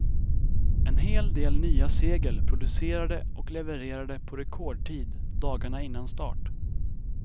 En hel del nya segel, producerade och levererade på rekordtid dagarna innan start.